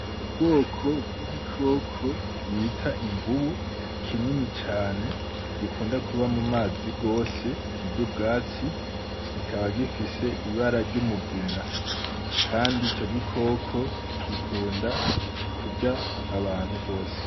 Ubwoko bw'igikoko bita imvubu, kinini cane gikunda kuba mu mazi gose kiry' ubwatsi kikaba gifise ibara ry'umugina, kandi ico gikoko gikunda kury'abantu gose.